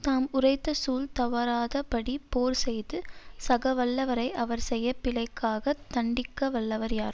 தாம் உரைத்த சூள் தவராத படி போர் செய்து சாக வல்லவரை அவர் செயப் பிழைக்காக தண்டிக்க வல்லவர் யார்